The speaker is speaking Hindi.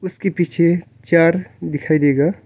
उसके पीछे चार दिखाई देगा--